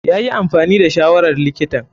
Yayi amfani da shawarar likitan.